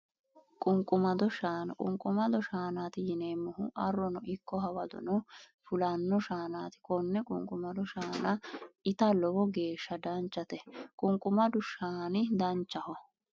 Qunqumado shaana qunqumado shaanaati yineemmohu arrono ikko hawadono fulanno shaanaati konne qunqumado shaana ita lowo geeshsha danchate qunqumadu shaani danchaho